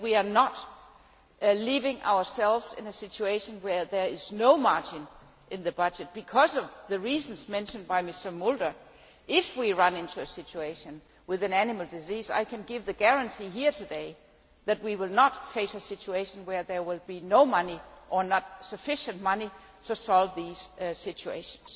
But we are not leaving ourselves in a situation where there is no margin in the budget, because of the reasons mentioned by Mr Mulder. If we run into a situation with an animal disease, I can give a guarantee here today that we will not face a situation where there will be no money or insufficient money to solve these situations.